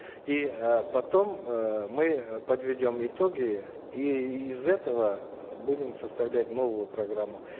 и э потом э мы э подведем итоги и из этого будем составлять новую программу